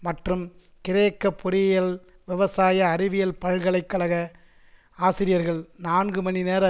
மற்றும் கிரேக்க பொறியியல் விவசாய அறிவியல் பல்கலை கழக ஆசிரியர்கள் நான்கு மணிநேர